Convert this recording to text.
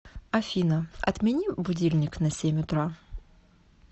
афина отмени будильник на семь утра